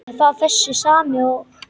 Er það þessi sami og.